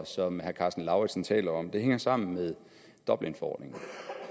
som herre karsten lauritzen taler om hænger sammen med dublinforordningen